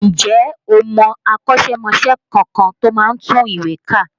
Ǹjẹ́ o mọ akọ́ṣẹ́mọṣẹ́ kankan tí ó máa ń tùwèé kà?